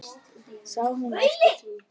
Sá hún eftir því?